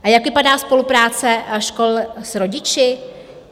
A jak vypadá spolupráce škol s rodiči?